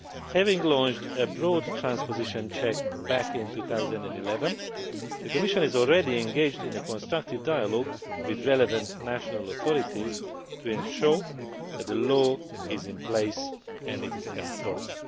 Having launched a broad transposition check back in 2011, the Commission is already engaged in a constructive dialogue with the relevant national authorities to ensure that the law is in place and that it is enforced.